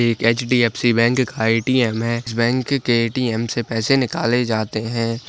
एक HDFC bank ATM है। इस बैंक के एटीएम से पैसे निकाले जाते है।